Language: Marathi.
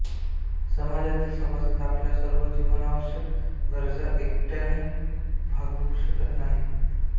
समाजातील सभासद आपल्या सर्व जीवनावष्यक गरजा एकटयाने भागवू शकत नाहीत